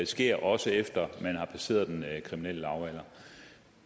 sker også efter man har passeret den kriminelle lavalder